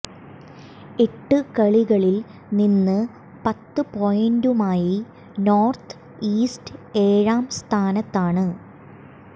എട്ട് കളികളിൽ നിന്ന് പത്ത് പോയിന്റുമായി നോർത്ത് ഈസ്റ്റ് ഏഴാം സ്ഥാനത്താണ്